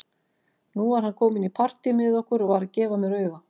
Nú var hann kominn í partí með okkur og var að gefa mér auga.